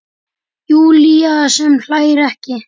Júlía sem hlær ekki.